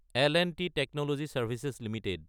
L and T technology services Ltd